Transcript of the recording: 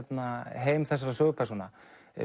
heim þessara sögupersóna